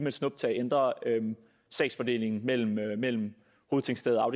et snuptag ændrer sagsfordelingen mellem mellem hovedtingsted og